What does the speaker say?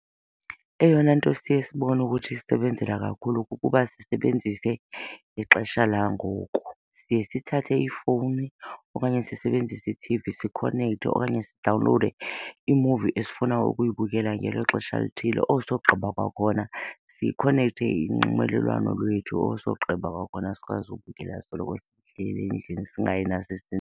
Eyona nto siye sibone ukuthi isisebenzela kakhulu kukuba sisebenzise ixesha langoku. Siye sithathe iifowuni okanye sisebenzise i-T_V sikhonekthe okanye sidawunlode imuvi esifuna ukuyibukela ngelo xesha lithile. Osogqiba kwakhona sikhonekte inxibelelwano lwethu osogqiba kwakhona sikwazi ukubukela sisoloko sihleli endlini singayi .